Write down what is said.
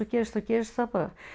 gerist þá gerist það bara